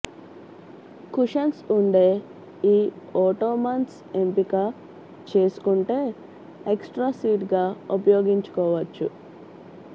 cushions ఉండే ఈ ottomans ఎంపిక చేసుకుంటే ఎక్స్ ట్రా సీట్ గా ఉపయోగించుకోవచ్చు